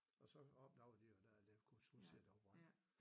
Og så opdagede de jo der at de kunne se at der var brand